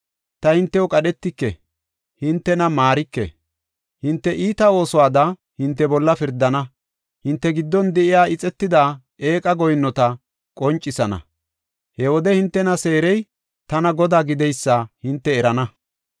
Ta hintew qadhetike; hintena maarike. Hinte iita oosuwada hinte bolla pirdana; hinte giddon de7iya ixetida eeqa goyinnota qoncisana. He wode hintena seerey tana Godaa gideysa hinte erana.